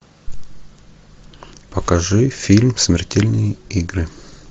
покажи фильм смертельные игры